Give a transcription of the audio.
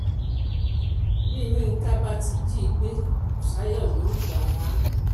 bí yinka bá ti jí i gbé busayo ló ń gbà á